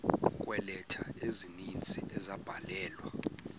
kweeleta ezininzi ezabhalelwa